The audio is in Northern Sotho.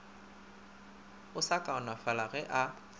o a kaonafala ge a